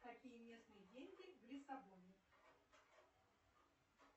какие местные деньги в лиссабоне